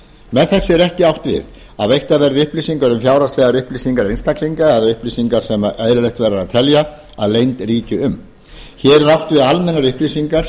með þessu er ekki átt við að veittar verði upplýsingar um fjárhagslegar upplýsingar einstaklinga eða upplýsingar sem eðlilegt verður að telja að leynd ríki um hér er átt við almennar upplýsingar